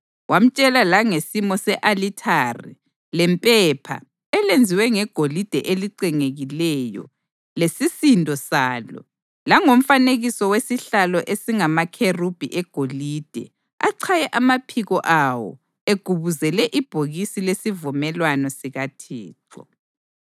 Wamtshela langesimo se-alithare lempepha elenziwe ngegolide elicengekileyo lesisindo salo, langomfanekiso wesihlalo esingamakherubhi egolide achaye amaphiko awo egubuzele ibhokisi lesivumelwano sikaThixo.